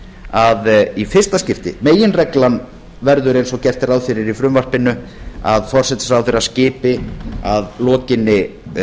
að í fyrsta skipti meginreglan verður eins og gert er ráð fyrir í frumvarpinu að forsætisráðherra skipi að lokinni